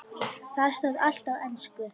Þar stóð allt á ensku.